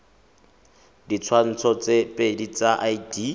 ditshwantsho tse pedi tsa id